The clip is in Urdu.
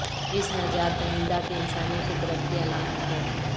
اس نجات دہندہ کی انسانی فطرت کی علامت ہے